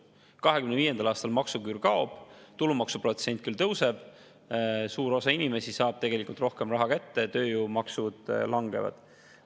2025. aastal maksuküür kaob, tulumaksuprotsent küll tõuseb, aga suur osa inimesi saab rohkem raha kätte, tööjõumaksud langevad.